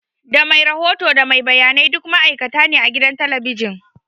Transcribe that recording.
Da mai rahoto da mai gabatarwa duk ma'aikata ne a gidan talabijin